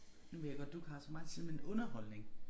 Nu ved jeg godt du ikke har så meget tid men underholdning